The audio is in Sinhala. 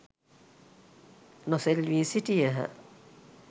නොසෙල්වී සිටියහ.